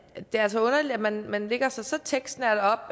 er altså underligt at man man lægger sig så tekstnært op